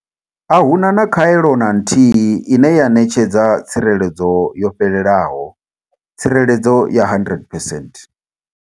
Ahuna na khaelo na nthihi ine ya ṋetshedza tsireledzo yo fhelelaho, tsireledzo ya 100 percent.